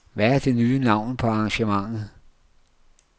Hvad er det nye navn på arrangementet?